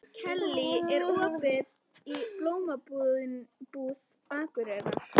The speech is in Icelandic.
Kellý, er opið í Blómabúð Akureyrar?